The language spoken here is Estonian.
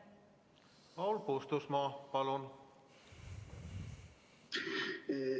Paul Puustusmaa, palun!